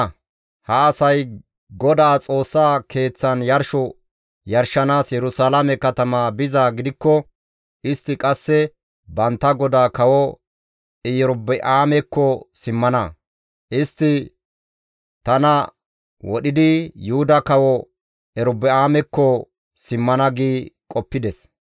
Ha asay GODAA Xoossa Keeththan yarsho yarshanaas Yerusalaame katama bizaa gidikko, istti qasse bantta godaa kawo Erobi7aamekko simmana. Istti tana wodhidi Yuhuda kawo Erobi7aamekko simmana» gi qoppides.